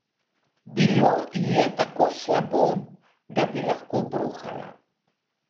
Bilo ji je tako slabo, da bi lahko bruhala.